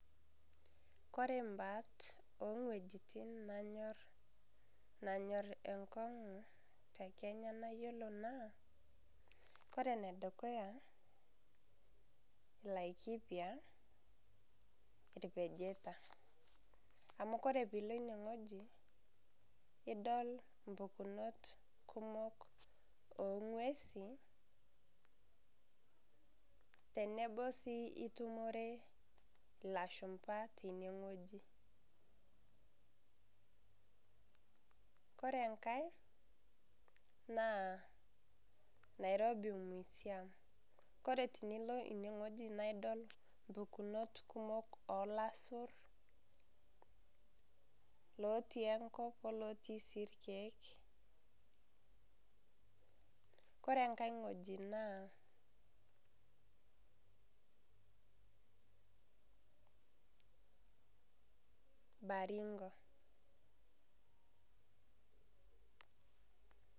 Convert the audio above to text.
Ore mbaat owuejitin nanyor enkongu tekenya na iyiolo na ore enedukuya na laikipia irpejeta amuore pilo enewueji idol impukunot kumok ongwesi teneba si nitumore lashumba tenewueji ore enkae na nairobi musiam ore tenilo inewueji naidil mpukunot kumok olasur lotii enkop olotii rikiek ore enkae wueji na Baringo